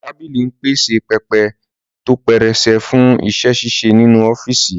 Tábìlì ń pèsè pẹpẹ tó pẹrẹsẹ fún iṣẹ́-ṣíṣe nínú ọ́fíìsì